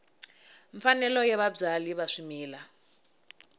mfanelo ya vabyali va swimila